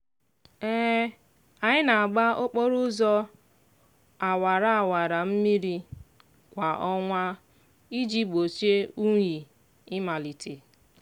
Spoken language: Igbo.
anyị na-gba okporo ụzọ awara awara mmiri kwa ọnwa iji gbochie unyi ịmalite.